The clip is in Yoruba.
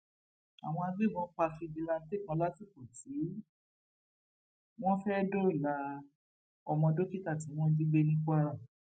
àwọn agbébọn pa fíjìláńtẹ kan lásìkò tí wọn fẹẹ dóòlà ọmọ dókítà tí wọn jí gbé ní kwara